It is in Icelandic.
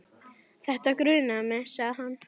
Þetta grunaði mig sagði hann.